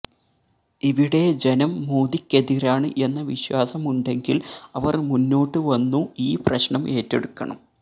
ഇവിടെ ജനം മോദിക്കെതിരാണ് എന്ന വിശ്വാസമുണ്ടെങ്കിൽ അവർ മുന്നോട്ടു വന്നു ഈ പ്രശ്നം ഏറ്റെടുക്കണം